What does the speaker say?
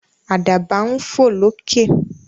Àdàbà ń fò lókè.